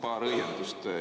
Paar õiendust.